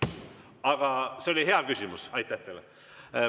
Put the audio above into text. Aga see oli hea küsimus, aitäh teile!